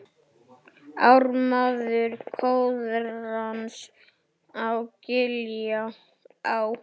Ármaður Koðráns á Giljá